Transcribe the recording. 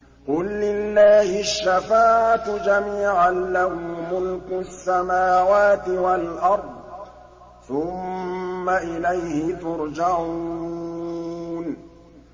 قُل لِّلَّهِ الشَّفَاعَةُ جَمِيعًا ۖ لَّهُ مُلْكُ السَّمَاوَاتِ وَالْأَرْضِ ۖ ثُمَّ إِلَيْهِ تُرْجَعُونَ